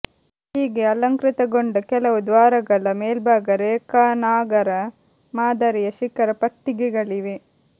ಹೀಗೆ ಅಲಂಕೃತಗೊಂಡ ಕೆಲವು ದ್ವಾರಗಳ ಮೇಲ್ಭಾಗ ರೇಖಾನಾಗರ ಮಾದರಿಯ ಶಿಖರ ಪಟ್ಟಿಕೆಗಳಿವೆ